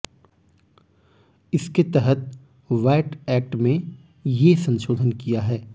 इसके तहत VAT act में ये संशोधन किया है